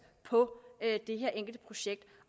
på det enkelte projekt